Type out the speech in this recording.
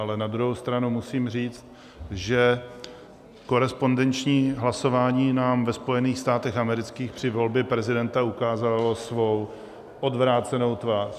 Ale na druhou stranu musím říct, že korespondenční hlasování nám ve Spojených státech amerických při volbě prezidenta ukázalo svou odvrácenou tvář.